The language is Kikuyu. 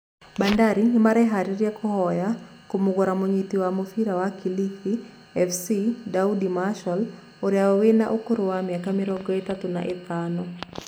Bandari nĩmareharĩria kũhoya kũmũgũra mũnyiti wa mũbira wa Kilifi fc Daudi marshall ũrĩa wĩna ũkũrũ wa mĩaka mĩrongo ĩtatũ na ĩtano